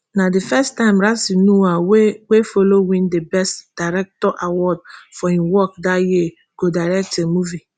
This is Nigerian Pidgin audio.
na di first time ramsey nouah wey wey follow win di best director award for im work dat year go direct a movie